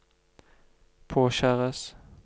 påkjæres